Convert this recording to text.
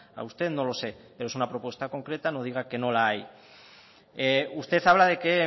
a usted no lo sé pero es una propuesta concreta no diga que no la hay usted habla de que